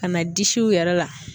Ka na disiw yɛrɛ la